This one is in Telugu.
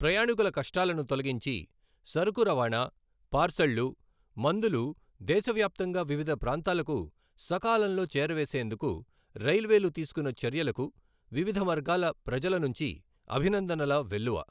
ప్రయాణికుల కష్టాలను తొలగించి, సరకు రవాణా, పార్శళ్లు, మందులు దేశ వ్యాప్తంగా వివిధ ప్రాంతాలకు సకాలంలో చేరేవేసేందుకు రైల్వేలు తీసుకున్న చర్యలకు వివిధ వర్గాల ప్రజల నుంచి అభినందనల వెల్లువ.